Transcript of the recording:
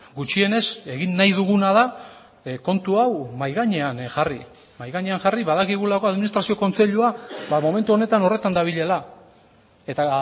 gutxienez egin nahi duguna da kontu hau mahai gainean jarri mahai gainean jarri badakigulako administrazio kontseilua momentu honetan horretan dabilela eta